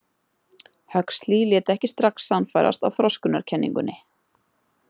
Huxley lét ekki strax sannfærast af „þroskunarkenningunni“.